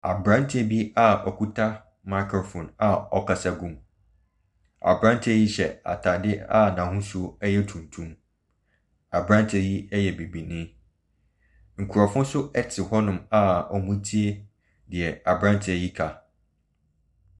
Aberanteɛ bi a okita microphone a ɔkasa gu mu, aberanteɛ hyɛ ataadeɛ a n’ahosuo yɛ tuntum. Aberanteɛ yi yɛ bibini. Nkurɔfoɔ nso te hɔnom a wɔretie deɛ aberanteɛ ka no.